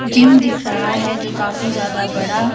gym दिख रहा है जो काफी ज्यादा बड़ा--